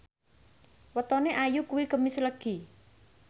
wetone Ayu kuwi Kemis Legi